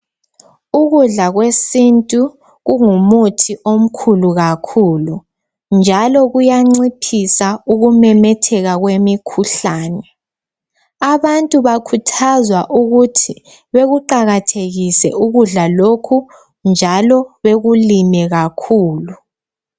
Ukudla kwesintu kungumuthi omkhulu kakhulu njalo kuyanciphisa ukumemetheka kwemikhuhlane Abantu bakhuthazwa ukuthi bekuqakathekise ukudla lokhu njalo bekulime kakhulu